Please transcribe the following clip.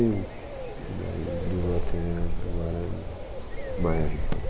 E um. E daí durou até agora... Maio a gente parou.